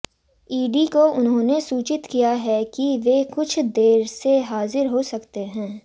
ED को उन्होंने सूचित किया है कि वे कुछ देर से हाजिर हो सकते हैं